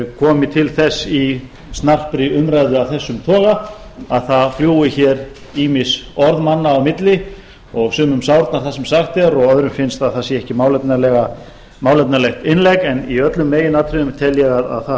komi til þess í snarpri umræðu af þessum toga að það fljúgi hér ýmis orð manna á milli og sumum sárnar það sem sagt er og öðrum finnst að það sé ekki málefnalegt innlegg en í öllum meginatriðum tel ég að það